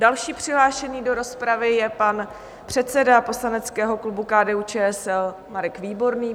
Další přihlášený do rozpravy je pan předseda poslaneckého klubu KDU-ČSL Marek Výborný.